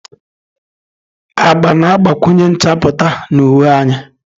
Agba na-agbakwunye nchapụta na uwe anyị.